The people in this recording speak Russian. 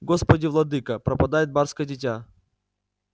господи владыко пропадает барское дитя